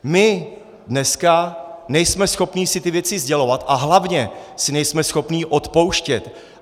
My dneska nejsme schopní si ty věci sdělovat a hlavně si nejsme schopní odpouštět.